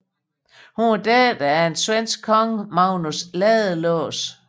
Hun var datter af den svenske kong Magnus Ladelås